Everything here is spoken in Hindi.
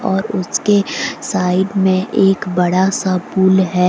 और उसके साइड में एक बड़ा सा पुल है।